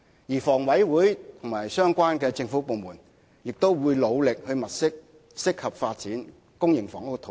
此外，房委會及相關的政府部門亦會努力物色適合發展公營房屋的土地。